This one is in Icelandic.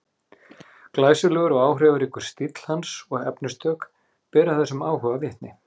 glæsilegur og áhrifaríkur stíll hans og efnistök bera þessum áhuga vitni